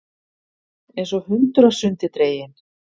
Einsog hundur af sundi dreginn.